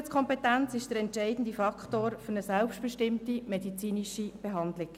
– Die Gesundheitskompetenz ist der entscheidende Faktor für eine selbstbestimmte medizinische Behandlung.